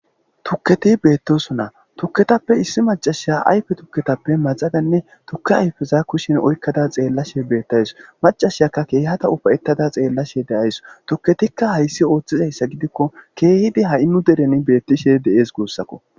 tukketi bettosso tukketappe issi macashshaya ayfe tuketappe maxadanne tuke ayfeza kushin oykkada xeellashe bettays macashshiyakka ke'hadda ufayettada xeellashshe de'ays tuketikka hayssi ooththizayissa gidikko keehidi ha'i nuu deren bettishshe de'ees gussakko